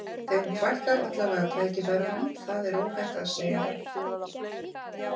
Þeim fækkar allavega tækifærunum, það er óhætt að segja það.